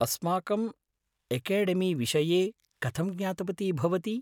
अस्माकम् एकेडेमीविषये कथं ज्ञातवती भवती?